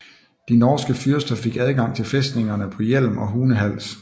De norske fyrster fik adgang til fæstningerne på Hjelm og i Hunehals